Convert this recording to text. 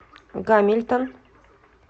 гамильтон